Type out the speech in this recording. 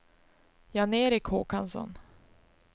Jan-Erik Håkansson